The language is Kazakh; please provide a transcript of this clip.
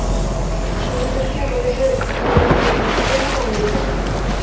шенеуніктер өзі үйлерінде ұйықтайды ма өзі